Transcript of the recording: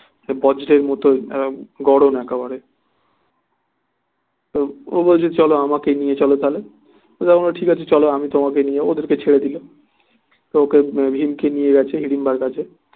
বজ্রের মত গড়ন একেবারে তো ও বলছে চলো আমাকে নিয়ে চলো তা হলে ও তখন বললো ঠিক আছে চলো তোমাকে নিয়ে ওদেরকে ছেড়ে দিলো তা ওকে ভীমকে নিয়ে গেছে হিড়িম্বার কাছে